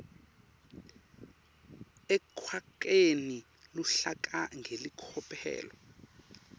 ekwakheni luhlaka ngelicophelo